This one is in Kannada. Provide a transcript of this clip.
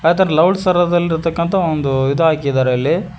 ಅತರ ಲೌಡ್ ಸರದಲ್ಲಿರ್ತಕ್ಕಂತ ಒಂದು ಇದಾಕಿದಾರೆ ಅಲ್ಲಿ.